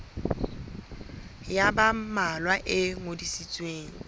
ya ba mmalwa e ngodisitsweng